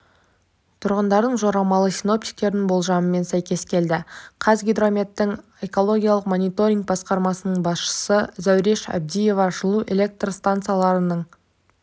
тұрғындардың жорамалы синоптиктердің болжамымен сәйкес келді қазгидрометтің экологиялық мониторинг басқармасының басшысы зәуреш әбдиева жылу электр стансаларының